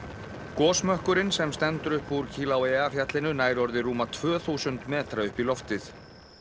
gosmökkurinn sem stendur upp úr Kilauea fjallinu nær orðið rúma tvö þúsund metra upp í loftið